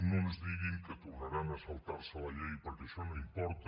no ens diguin que tornaran a saltar se la llei perquè això no importa